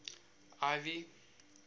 ivy